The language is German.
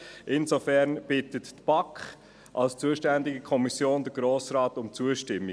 Insofern bittet die BaK als zuständige Kommission den Grossen Rat um Zustimmung.